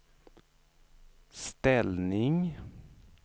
ställning